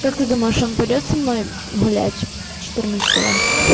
как ты думаешь он пойдёт со мной гулять четырнадцать